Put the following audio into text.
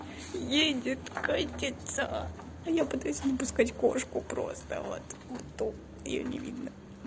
едет катиться а я пытаюсь не пускать кошку просто вот то её не видно